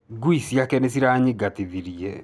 Ngui ciake nĩ ciranyingatithirie.